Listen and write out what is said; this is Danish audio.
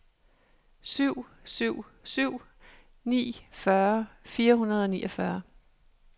syv syv syv ni fyrre fire hundrede og niogfyrre